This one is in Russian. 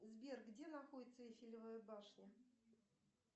сбер где находится эйфелева башня